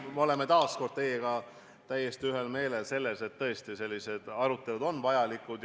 Me oleme taas kord teiega täiesti ühel meelel, et sellised arutelud on vajalikud.